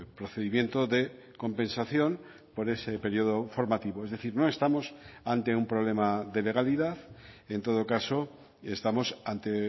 procedimiento de compensación por ese periodo formativo es decir no estamos ante un problema de legalidad en todo caso estamos ante